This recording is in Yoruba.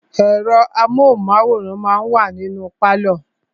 Ẹ̀rọ amóhùnmáwòrán máà wa ní inú pálọ̀.